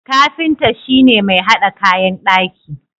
Kafinta shi ne mai hada kayan daki.